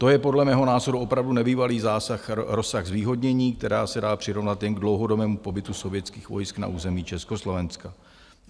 To je podle mého názoru opravdu nebývalý rozsah zvýhodnění, která se dá přirovnat jen k dlouhodobému pobytu sovětských vojsk na území Československa.